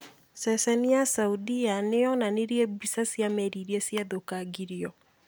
Ceceni ya saudia nĩyonanirie mbica cia merĩ iria ciathũkangirio